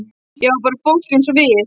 Já, bara fólk eins og við.